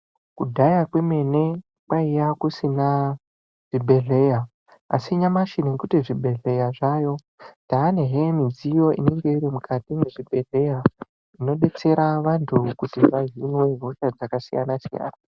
Kudhaya kwemene kwaiya kusina zvibhedhleya. Asi nyamashi nekuti zvibhedhleya zvayo tanezve midziyo inenge iri mukati mwezvibhedhleya. Inobetsera vantu kuti vahinwe hosha dzakasiyana-siyana.